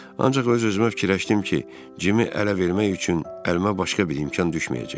Ancaq öz-özümə fikirləşdim ki, Cimi ələ vermək üçün əlimə başqa bir imkan düşməyəcək.